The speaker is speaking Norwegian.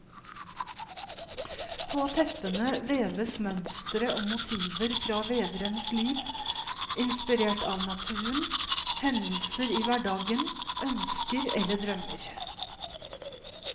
På teppene veves mønstre og motiver fra veverens liv, inspirert av naturen, hendelser i hverdagen, ønsker eller drømmer.